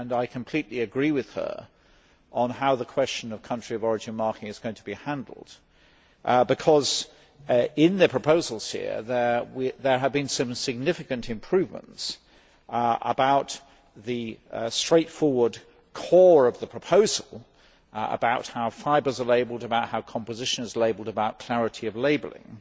I completely agree with her on how the question of country of origin marking is going to be handled. In the proposals here, there have been some significant improvements about the straightforward core of the proposal about how fibres are labelled, about how composition is labelled and about clarity of labelling.